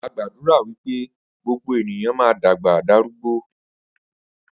Agbàdúrà wípé gbogbo ènìyàn ma dàgbà darúgbó